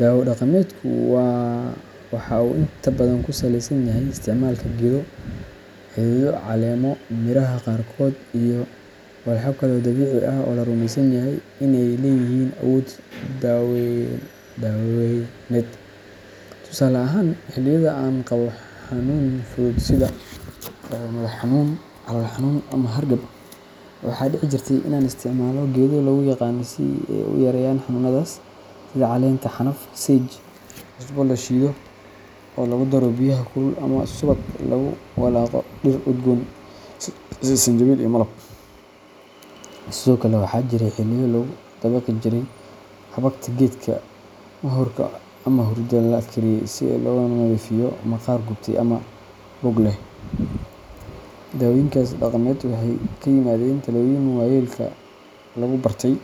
Dawo dhaqameedku waxa uu inta badan ku saleysan yahay isticmaalka geedo, xidido, caleemo, miraha qaarkood iyo walxo kale oo dabiici ah oo la rumeysan yahay in ay leeyihiin awood daweyneed. Tusaale ahaan, xilliyada aan qabo xanuun fudud sida madax-xanuun, calool xanuun ama hargab, waxaa dhici jirtay in aan isticmaalo geedo lagu yaqaan in ay yareeyaan xanuunadaas, sida caleenta xanaf sage, cusbo la shiido oo lagu daro biyaha kulul, ama subag lagu walaaqo dhir udgoon sida sanjabiil iyo malab. Sidoo kale, waxaa jiray xilliyo lagu dabaqi jiray xabagta geedka moxorka ama hurdi la kariyey si loogu nadiifiyo maqaar gubtay ama boog leh. Daawooyinkaas dhaqameed waxay ka yimaadeen talooyin waayeelka oo lagu bartay.